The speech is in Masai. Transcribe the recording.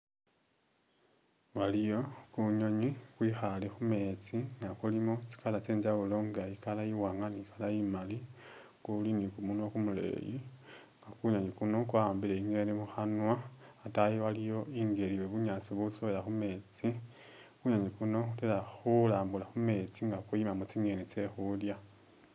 Waliyo kunyonyi kwikhaale khumeetsi nga kulimo tsi'color tsye jawulo nga i'color i'waanga ni color imaali kuli ni kumunwa kumuleyi, kunyonyi kuno kwa'ambile i'ngeni mukhanwa, a'taayi waliwo i'ngeli ye bunyaasi butsowela khumeetsi kunyonyi kuno kudala khulambula khumeetsi nga kuyimamo tsi'ngeni tse khulya